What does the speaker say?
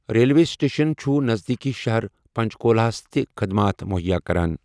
Railway station چُھ نزدیٖکی شَہر پنٛچکولاہس تہٕ خٕدمات مٗہیا کَران۔